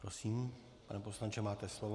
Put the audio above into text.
Prosím, pane poslanče, máte slovo.